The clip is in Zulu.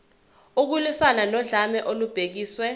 ukulwiswana nodlame olubhekiswe